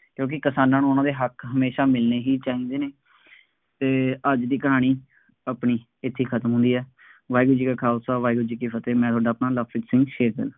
ਕਿਉਂਕਿ ਕਿਸਾਨਾਂ ਨੂੰ ਉਹਨਾ ਦੇ ਹੱਕ ਹਮੇਸ਼ਾ ਮਿਲਣੇ ਹੀ ਚਾਹੀਦੇ ਨੇ, ਅਤੇ ਅੱਜ ਦੀ ਕਹਾਣੀ ਆਪਣੀ ਇੱਥੇ ਖ਼ਤਮ ਹੁੰਦੀ ਹੈ, ਵਾਹਿਗੁਰੂ ਜੀ ਕਾ ਖਾਲਸਾ, ਵਾਹਿਗੁਰੂ ਜੀ ਕਿ ਫਤਹਿ, ਮੈਂ ਤੁਹਾਡਾ ਆਪਣਾ ਲਵਪ੍ਰੀਤ ਸਿੰਘ ਸ਼ੇਗਗਿੱਲ ।